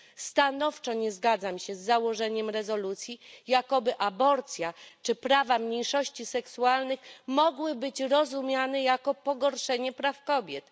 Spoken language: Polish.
Stanowczo nie zgadzam się z założeniem rezolucji, jakoby aborcja czy prawa mniejszości seksualnych mogły być rozumiane jako pogorszenie praw kobiet.